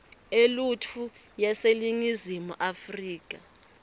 eluntfu yaseningizimu afrika